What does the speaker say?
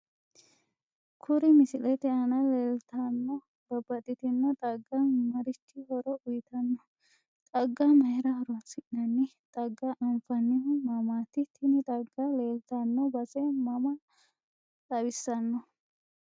Kuri misilete aana leelttano babbaxitinno xagga maarichi horo uyiitanno xagga mayiira horoonsinani xagga anfanihu mamaati tini xagga leeltanno base maa xawissanno